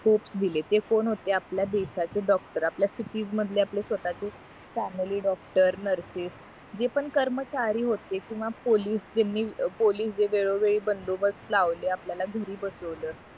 hopes दिले ते कोण होते आपल्या दिवसाचे डॉक्टर आपल्या मधले आपले स्वतःचे फॅमिली डॉक्टर नर्सेस जे पण कर्मचारी होते किंवा पोलीस ज्यांनी वेगळेवेगळे बंदोबस्त लावले आपल्याला घरी बसवलं